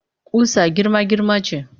Ƙusa girma-girma ce